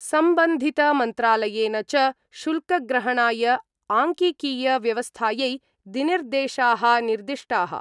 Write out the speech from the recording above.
संबन्धितमन्त्रालयेन च शुल्कग्रहणाय आंकिकीय व्यवस्थायै दिनिर्देशा: निर्दिष्टा:।